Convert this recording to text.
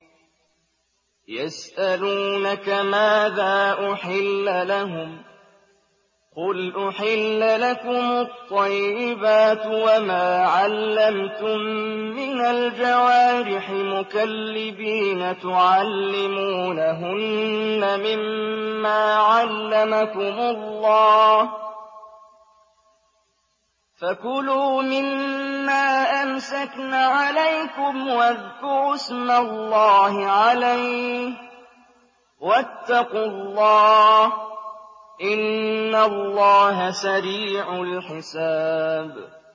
يَسْأَلُونَكَ مَاذَا أُحِلَّ لَهُمْ ۖ قُلْ أُحِلَّ لَكُمُ الطَّيِّبَاتُ ۙ وَمَا عَلَّمْتُم مِّنَ الْجَوَارِحِ مُكَلِّبِينَ تُعَلِّمُونَهُنَّ مِمَّا عَلَّمَكُمُ اللَّهُ ۖ فَكُلُوا مِمَّا أَمْسَكْنَ عَلَيْكُمْ وَاذْكُرُوا اسْمَ اللَّهِ عَلَيْهِ ۖ وَاتَّقُوا اللَّهَ ۚ إِنَّ اللَّهَ سَرِيعُ الْحِسَابِ